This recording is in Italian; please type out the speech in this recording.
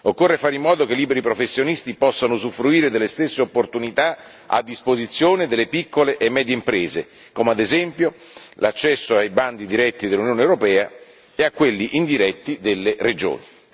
Occorre fare in modo che i liberi professionisti possano usufruire delle stesse opportunità a disposizione delle piccole e medie imprese come, ad esempio, l'accesso ai bandi diretti dell'Unione europea e a quelli indiretti delle regioni.